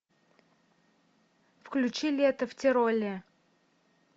включи лето в тироле